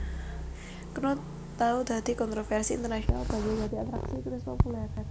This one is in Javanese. Knut tau dadi kontrovèrsi internasional banjur dadi atraksi turis populèr